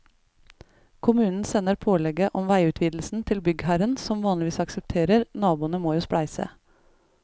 Kommunen sender pålegget om veiutvidelsen til byggherren som vanligvis aksepterer, naboene må jo spleise.